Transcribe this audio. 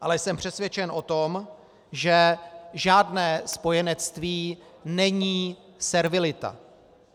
Ale jsem přesvědčen o tom, že žádné spojenectví není servilita.